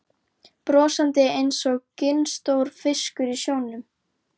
Brosandi einsog ginstór fiskur í sjónum.